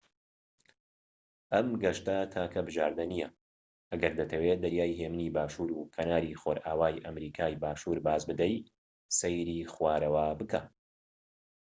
ئەم گەشتە تاکە بژاردە نیە ئەگەر دەتەوێت دەریای هێمنی باشور و کەناری خۆرئاوای ئەمریکای باشوور باز بدەیت. سەیری خوارەوە بکە